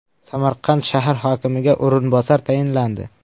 Samarqand shahar hokimiga o‘rinbosar tayinlandi.